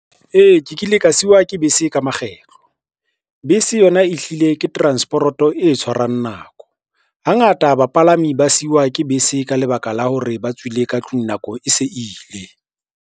Ee, ke kile ka siwa ke bese ka makgetlo. Bese yona e hlile ke transeporoto e tshwarang nako. Hangata bapalami ba siwa ke bese ka lebaka la hore ba tswile ka tlung nako e se ile.